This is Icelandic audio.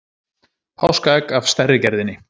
Páskaegg af stærri gerðinni.